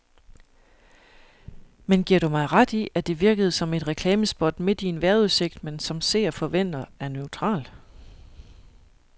Men giver du mig ret i, at det virkede som et reklamespot midt i en vejrudsigt, man som seer forventer er neutral.